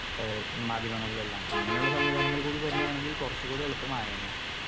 Speaker 2 ഏ മാധ്യമങ്ങളിലെല്ലാം അങ്ങനൊരു സംവിധാനങ്ങൾ കൂടി വരികയാണെങ്കിൽ കൊറച്ചും കൂടി എളുപ്പമായേനെ.